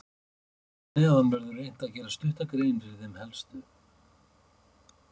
Hér að neðan verður reynt að gera stutta grein fyrir þeim helstu.